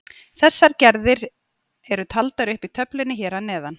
Þessar gerðir eru taldir upp í töflunni hér að neðan.